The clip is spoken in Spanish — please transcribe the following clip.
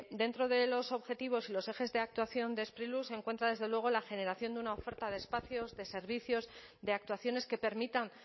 dentro de los objetivos y los ejes de actuación de sprilur se encuentra desde luego la generación de una oferta de espacios de servicios de actuaciones que permitan